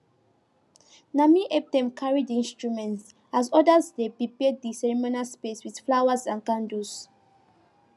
na me help them carry the instrument as others dey prepare the ceremonial space with flowers and candles